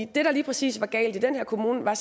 der lige præcis var galt i den kommune var